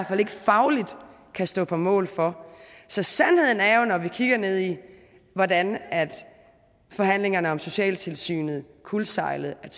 fald ikke fagligt kan stå på mål for så sandheden er jo når vi kigger ned i hvordan forhandlingerne om socialtilsynet kuldsejlede at